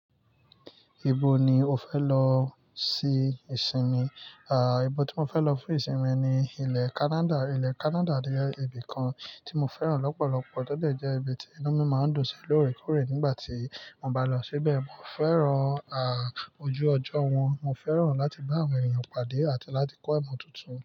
Ibo ni o fẹ lọ sí ìsinmi? À, ibo tí mo fẹ lọ fún ìsinmi ni ilẹ̀ Canada. Ilẹ̀ Canada jẹ ibi kan tí mo fẹ́ràn lọ́pọ̀lọ́pọ̀. Tódẹ̀ jẹ́ ibi tí inú mi máa ń dùn sí lóòrèkóòrè nígbà tí mo bá lọ síbẹ̀. Mo fẹ́ràn à ojú ọjọ́ wọn, mo fẹ́ràn láti bá àwọn ènìyàn pàdé àti láti kọ́ ẹ̀kọ́ tuntun.